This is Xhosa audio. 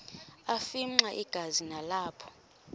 afimxa igazi nalapho